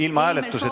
Ilma hääletuseta ...